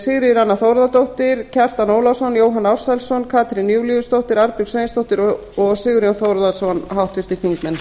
sigríður a þórðardóttir kjartan ólafsson jóhann ársælsson katrín júlíusdóttir arnbjörg sveinsdóttir og sigurjón þórðarson háttvirtir þingmenn